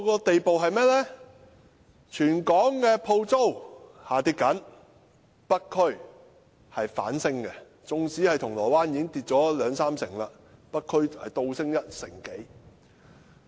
即使全港各區鋪租下跌，北區的鋪租反而上升，縱使銅鑼灣的鋪租已經下跌兩三成，北區的鋪租卻倒升一成多。